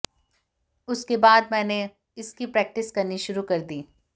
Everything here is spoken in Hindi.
उसके बाद मैंने इसकी प्रैक्टिस करनी शुरू कर दी